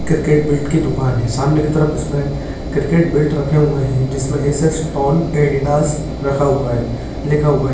Cricket bat की दुकान है सामने की तरफ इसमें क्रिकेट बैट रखे हुए है। जिसमे एसएस टोन एडीडास रखा हुआ है लिखा हुआ है।